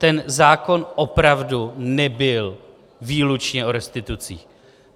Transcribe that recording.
Ten zákon opravdu nebyl výlučně o restitucích.